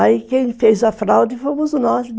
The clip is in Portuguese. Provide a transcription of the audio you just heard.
Aí quem fez a fraude fomos nós